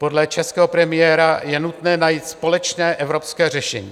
Podle českého premiéra je nutné najít společné evropské řešení.